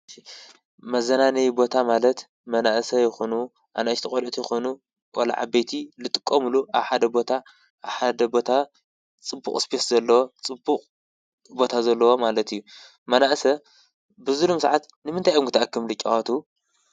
መዘናነይ ቦታ ማለት መናእሰ ይኹኑ ኣነ እሽተ ቖልኦት ይኹኑ ወልዓቤቲ ልጥቆ ምሉ ኣሓደ ቦታ ኣሓደ ቦታ ጽቡቕ ስጴስ ዘለዎ ጽቡቕ ቦታ ዘለዎ ማለት እዩ መናእሰ ብዙሉም ሰዓት ንምንታይ ኣምጕተኣክም ልጭዋቱ።